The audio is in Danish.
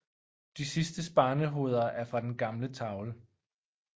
De sidstes barnehoveder er fra den gamle tavle